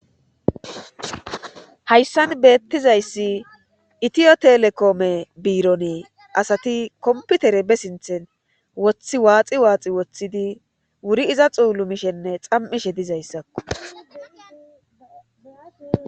hayssan beettizayssi itiyo telekoome biironee asati komputere be sinthen woththi waaxi waaxi woththidi wuri iza xuulu mishenne xam7ishe dizayssakko